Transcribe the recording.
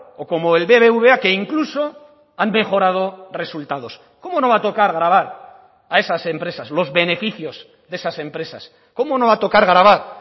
o como el bbva que incluso han mejorado resultados cómo no va a tocar gravar a esas empresas los beneficios de esas empresas cómo no va a tocar gravar